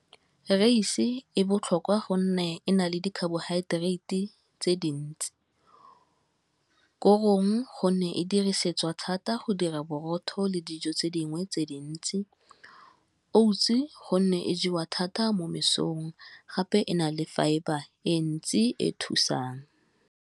Raese e botlhokwa gonne e na le dicarbohydrates tse dintsi, korong gonne e dirisetswa thata go dira borotho le dijo tse dingwe tse dintse, Oats-e gonne e jewa thata mo mesong gape e na le fibre e ntsi e thusang.